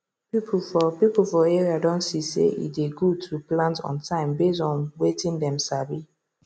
people for people for area don see say e dey good to plant on time based on wetin dem sabi